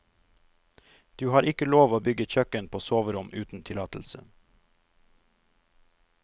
Du har ikke lov å bygge kjøkken på soverom uten tillatelse.